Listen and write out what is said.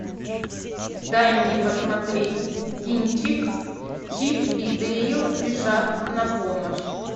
дай мне посмотреть кинчик чип и дейл спешат на помощь